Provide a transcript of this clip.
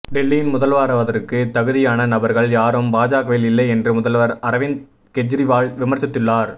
டெல்லியின் முதல்வராவதற்குத் தகுதியான நபா்கள் யாரும் பாஜகவில் இல்லை என்று முதல்வா் அரவிந்த் கெஜ்ரிவால் விமர்சித்துள்ளார்